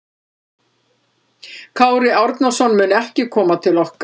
Kári Árnason mun ekki koma til okkar.